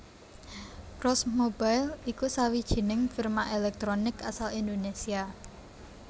Cross Mobile iku sawijining firma èlèktronik asal Indonésia